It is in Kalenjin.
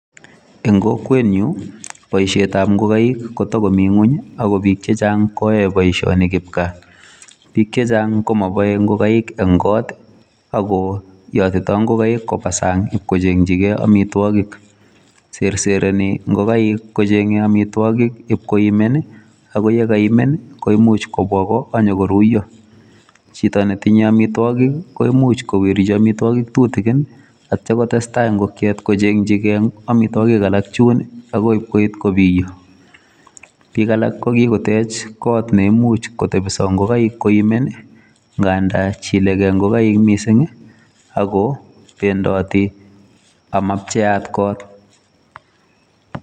En kokwenyun boishietab ingokaik, koto komi ngwony ak bik chechang koyoe boishonik kipgaa. Bik chechang komoboe ingokaik en kot ako yotitoo ingokaik kobaa sang, ib kochengchigei amitwogiik. Serserenii ingokaik kochengee amitwogik ibkoimen ,ak yekakoimen koimuch kobwa goo, ak kinyon koruyoo .Chito netinye amitwogik koimuch kowirchi amitwogik tutigin ak yeityoo kotestaa ingokiet kochengchigei amitwogiik alak chuun akoi koit kobiyoo. Bik alak kokitech kot neimuch kotebsoo ingokaik, koimen ngandan Chilege ingokaik missing, ako bendotii ama pcheat got.